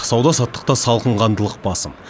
сауда саттықта салқынқандылық басым